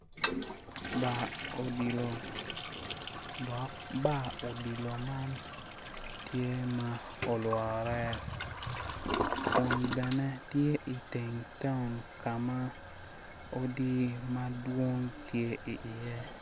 Bar odilo dok bar odilo man tye ma olwore kun bene tye i teng taun ka ma odi madwong tye iye